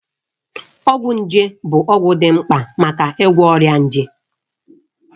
Ọgwụ nje bụ ọgwụ dị mkpa maka ịgwọ ọrịa nje.